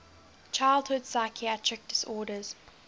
childhood psychiatric disorders